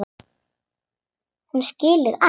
Hún skilur allt.